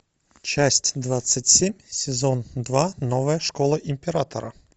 часть двадцать семь сезон два новая школа императора